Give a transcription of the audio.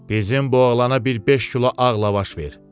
Bizim bu oğlana bir beş kilo ağ lavaş ver.